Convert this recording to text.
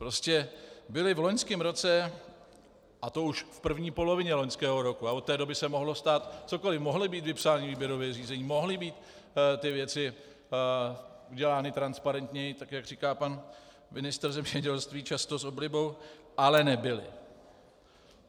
Prostě byly v loňském roce, a to už v první polovině loňského roku a od té doby se mohlo stát cokoliv, mohla být vypsána výběrová řízení, mohly být ty věci udělány transparentněji, tak jak říká pan ministr zemědělství často s oblibou, ale nebyly.